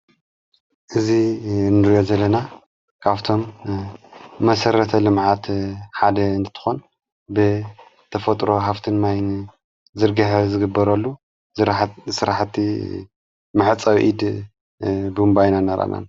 እዚ እንዮ ዘለና ካብቶም መሠረተ ልምዓት ሓደ እንትትኾን ብ ተፈጥሮ ሃፍትን ማይን ዝርገሐ ዝግበረሉ ሠራሕቲ መሕጸቢ ኢድ ቦምባ ኢና ነራኣና።